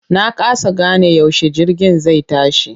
Na kasa gane yaushe jirgin zai tashi.